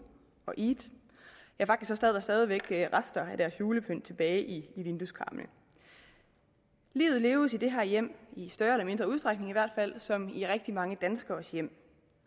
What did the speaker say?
og eid ja faktisk sad der stadig rester af deres julepynt tilbage i vindueskarmen livet leves i det her hjem i større eller mindre udstrækning i hvert fald som i rigtig mange danskeres hjem